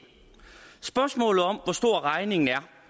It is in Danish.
spørgsmålet om hvor stor regningen er